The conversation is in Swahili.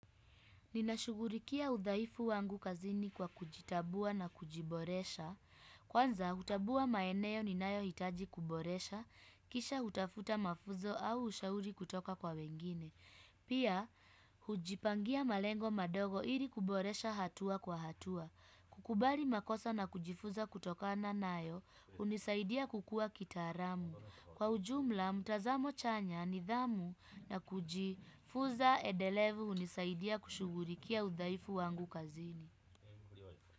Ninashughurikia udhaifu wangu kazini kwa kujitambua na kujiboresha. Kwanza, kutambua maeneo ni nayo hitaji kuboresha, kisha utafuta mafuzo au ushauri kutoka kwa wengine. Pia, hujipangia malengo madogo ili kuboresha hatua kwa hatua. Kukubari makosa na kujifuza kutoka na nayo, unisaidia kukua kitaaramu. Kwa ujumla, mtazamo chanya ni dhamu na kuji fuza edelevu unisaidia kushugurikia udhaifu wangu kazini.